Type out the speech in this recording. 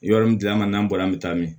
Yɔrɔ min dila an ka n'an bɔra an bɛ taa min